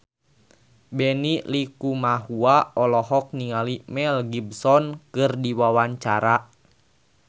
Benny Likumahua olohok ningali Mel Gibson keur diwawancara